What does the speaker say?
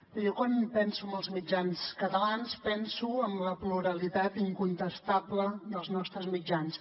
bé jo quan penso en els mitjans catalans penso en la pluralitat incontestable dels nostres mitjans